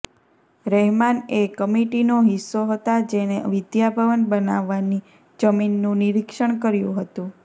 રહેમાન એ કમિટિનો હિસ્સો હતા જેણે વિધાનભવન બનાવવાની જમીનનું નિરીક્ષણ કર્યું હતું